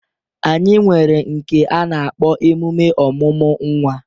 Anyi nwere nke a na-akpọ emume ọmụmụ nwa.